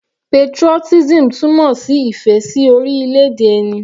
Patriotism túmọ̀ sí ìfẹ́ sí orílẹ̀-èdè ẹni.